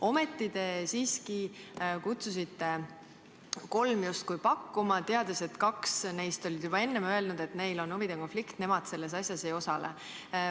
Ometi te kutsusite justkui kolm bürood pakkuma, teades, et kaks neist oli juba enne öelnud, et neil on huvide konflikt, nemad selles asjas ei osale.